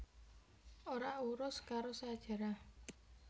Ora urus karo sajarah